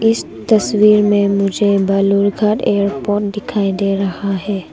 इस तस्वीर में मुझे बलुघाट एयरपोर्ट दिखाई दे रहा है।